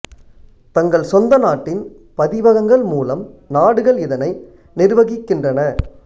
தங்கள் சொந்த நாட்டின் பதிவகங்கள் மூலம் நாடுகள் இதனை நிர்வகிக்கின்றன